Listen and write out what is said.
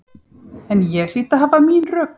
En ég hlýt að hafa mín rök.